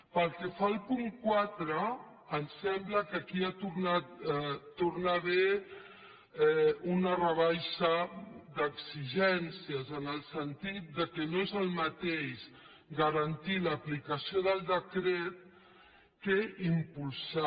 pel que fa al punt quatre ens sembla que hi torna a haver una rebaixa d’exigències en el sentit que no és el mateix garantir l’aplicació del decret que impulsar